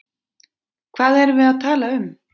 Hvað erum við að tala um?